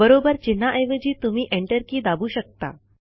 बरोबर चिन्हाऐवजी तुम्ही एन्टर की दाबू शकता